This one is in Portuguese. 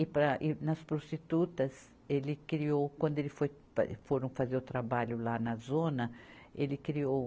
E para, e nas prostitutas, ele criou, quando ele foi fa, foram fazer o trabalho lá na zona, ele criou